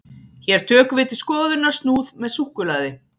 hér tökum við til skoðunar snúð með súkkulaði